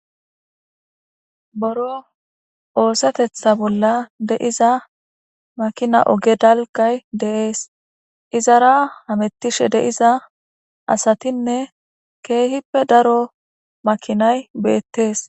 Buro oosetetha bolla diza makina oge dalggay de7ees izara hametishe diza asatinne keehipe daro makinay beetes.